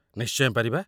ନିଶ୍ଚୟ ପାରିବା।